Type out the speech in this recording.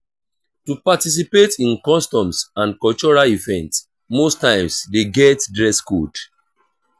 to participate in customs and cultural event most times de get dress code